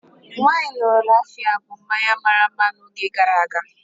Wine Raphia bụ mmanya mara mma n'oge gara aga.